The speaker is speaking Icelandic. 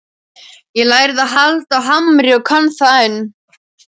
Ég lærði að halda á hamri og kann það enn.